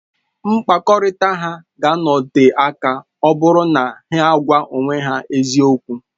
Mkpakọrịta ha ga-anọte aka ọ bụrụ na ha na-agwa onwe ha eziokwu